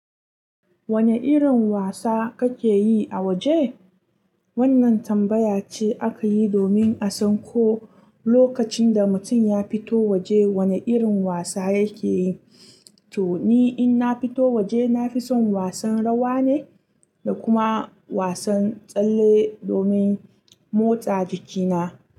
Wane irin wasa kake yi a waje? Wannan tambaya ce aka yi domin a san ko lokacin da mutum ya fito waje wane irin wasa yake yi. To ni in na fito waje, na fi son wasan rawa ne da kuma wasan tsalle domin motsa jikina.